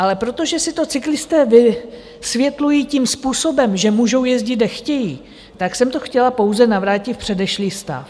Ale protože si to cyklisté vysvětlují tím způsobem, že můžou jezdit, kde chtějí, tak jsem to chtěla pouze navrátit v předešlý stav.